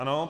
Ano.